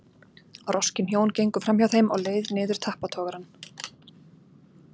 Roskin hjón gengu framhjá þeim á leið niður tappatogarann.